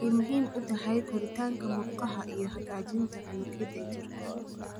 Waxay muhiim u tahay koritaanka murqaha iyo hagaajinta unugyada jirka.